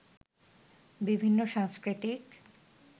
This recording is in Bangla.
বিভিন্ন সাংস্কৃতিক